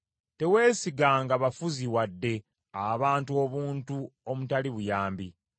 Teweesiganga bafuzi, wadde abantu obuntu omutali buyambi.